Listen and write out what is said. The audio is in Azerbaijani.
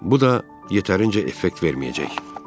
Bu da yetərincə effekt verməyəcək.